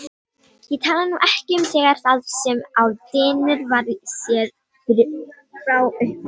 Ég tala nú ekki um þegar það sem á dynur var séð fyrir frá upphafi.